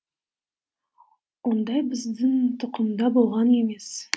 ондай біздің тұқымда болған емес